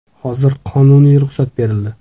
Hozir qonuniy ruxsat berildi.